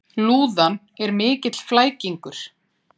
Lúðan er mikill flækingur.